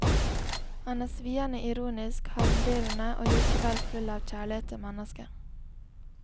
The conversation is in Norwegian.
Han er sviende ironisk, harmdirrende og likevel full av kjærlighet til mennesket.